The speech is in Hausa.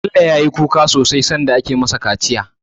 Bello ya yi kuka sosai sanda ake ma sa kaciya